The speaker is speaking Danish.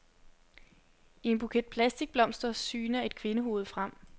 I en buket plastikblomster syner et kvindehoved frem.